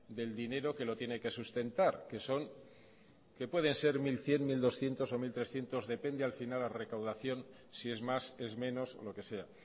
del dinero que lo tiene que sustentar que pueden ser mil cien mil doscientos o mil trescientos depende al final la recaudación si es más es menos o lo que sea